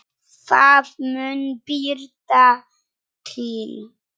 Það mun birta til.